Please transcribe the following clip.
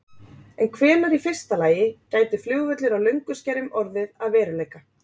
En hvenær í fyrsta lagi gæti flugvöllur á Lönguskerjum orðið að veruleika?